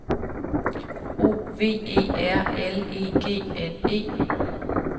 O V E R L E G N E